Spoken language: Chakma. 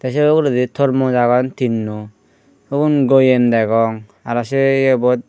te sei obladi tormos agon tinno ubun goyem degong aro sei yebot.